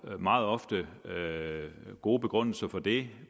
er jo meget ofte gode begrundelser for det